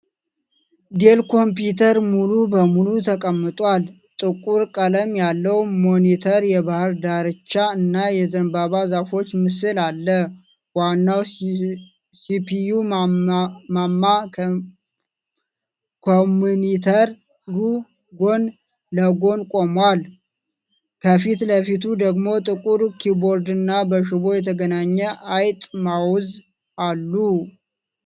ዴል ኮምፒዩተር ሙሉ በሙሉ ተቀምጧል። ጥቁር ቀለም ያለው ሞኒተር የባህር ዳርቻ እና የዘንባባ ዛፎች ምስል አለ። ዋናው ሲፒዩ ማማ ከሞኒተሩ ጎን ለጎን ቆሟል፤ ከፊት ለፊቱ ደግሞ ጥቁር ኪቦርድና በሽቦ የተገናኘ አይጥ (ማውዝ) አሉ።